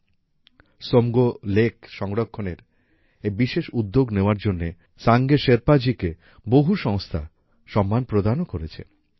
Tsomgo Somgo lake সংরক্ষণের এই বিশেষ উদ্যোগ নেওয়ার জন্য সাঙ্গে শেরপাজিকে বহু সংস্থা সম্মানপ্রদানও করেছে